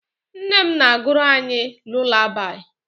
Nne m na-agụrụ anyị lulabaị.